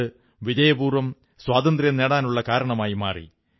അത് വിജയപൂർവ്വം സ്വാതന്ത്ര്യം നേടാനുള്ള കാരണമായി മാറി